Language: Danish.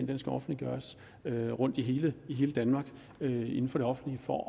den skal offentliggøres i hele i hele danmark inden for det offentlige for